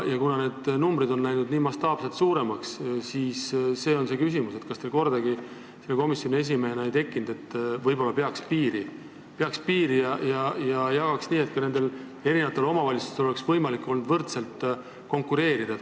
Ja kuna need numbrid on läinud mastaapselt suuremaks, siis on mul selline küsimus: kas teil ei tekkinud kordagi selle komisjoni esimehena mõtet, et võib-olla peaks piiri pidama ja jagama raha nii, et omavalitsustel oleks olnud võimalik võrdselt konkureerida?